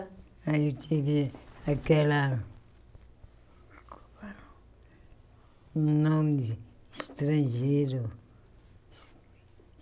Eu tive aquela... Nome de estrangeiro.